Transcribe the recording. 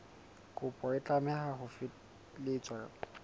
kopo e tlameha ho felehetswa